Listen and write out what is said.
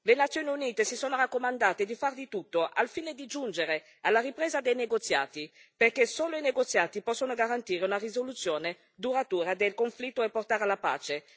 Le Nazioni Unite si sono raccomandate di far di tutto al fine di giungere alla ripresa dei negoziati, perché solo i negoziati possono garantire una risoluzione duratura del conflitto e portare alla pace.